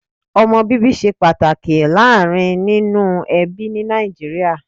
Omo bíbí ṣe pàtàkì láàárín nínú ẹbí ní Nàìjíríà